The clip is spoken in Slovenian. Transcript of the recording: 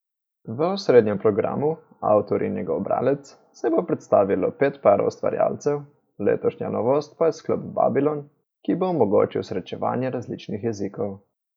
V osrednjem programu, Avtor in njegov bralec, se bo predstavilo pet parov ustvarjalcev, letošnja novost pa je sklop Babilon, ki bo omogočil srečevanje različnih jezikov.